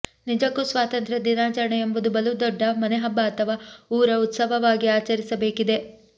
ನಿಜಕ್ಕೂ ಸ್ವಾತಂತ್ರ್ಯ ದಿನಾಚರಣೆ ಎಂಬುದು ಬಲು ದೊಡ್ಡ ಮನೆಹಬ್ಬ ಅಥಾವಾ ಊರ ಉತ್ಸವವಾಗಿ ಆಚರಿಸಬೇಕಿದೆ